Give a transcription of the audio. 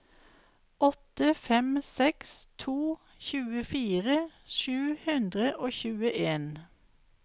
åtte fem seks to tjuefire sju hundre og tjueen